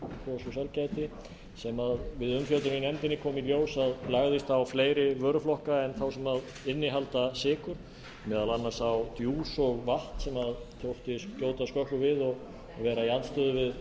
og sælgæti sem við umfjöllun í nefndinni kom í ljós að lagðist á fleiri vöruflokka en þá sem innihalda sykur meðal annars á djús og vatn sem þótti skjóta skökku við og vera í andstöðu við